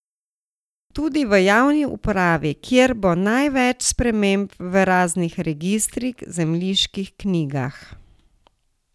Tudi v javni upravi, kjer bo največ sprememb v raznih registrih, zemljiških knjigah ...